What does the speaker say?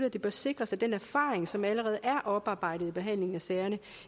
at det bør sikres at den erfaring som allerede er oparbejdet i behandlingen af sagerne